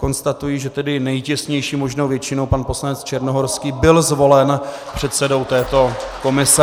Konstatuji, že tedy nejtěsnější možnou většinou pan poslanec Černohorský byl zvolen předsedou této komise.